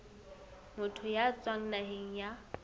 motho ya tswang naheng ya